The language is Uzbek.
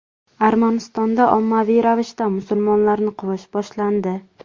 Armanistonda ommaviy ravishda musulmonlarni quvish boshlandi .